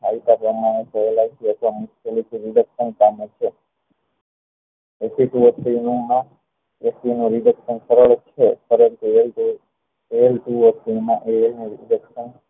આવતા પ્રમાણે